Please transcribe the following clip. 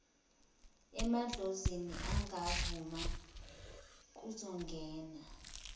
amadlozi angavuma kuzongena